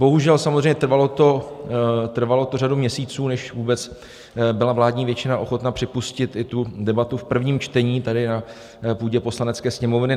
Bohužel, samozřejmě trvalo to řadu měsíců, než vůbec byla vládní většina ochotna připustit i tu debatu v prvním čtení tady na půdě Poslanecké sněmovny.